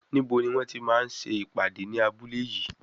Níbo ni wọ́n ti máa ń ṣe ìpàdé ní abúlé yìí?